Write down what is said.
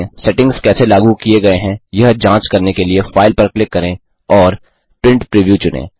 settings कैसे लागू किए गए हैं यह जांच करने के लिए फाइल पर क्लिक करें और प्रिंट प्रीव्यू चुनें